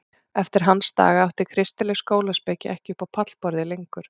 Eftir hans daga átti kristileg skólaspeki ekki upp á pallborðið lengur.